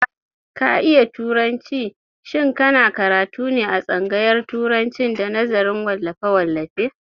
Ka iya turanci, shin ka na karatu ne a tsangaryan turacin da nazarin wallafe-wallafe?